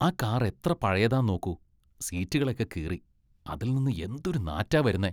ആ കാർ എത്ര പഴയതാ നോക്കൂ. സീറ്റുകളൊക്കെ കീറി, അതിൽ നിന്ന് എന്തൊരു നാറ്റാ വരുന്നേ.